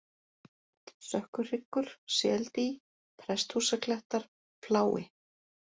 Sökkuhryggur, Seldý, Presthúsaklettar, Flái